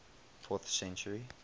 fourth century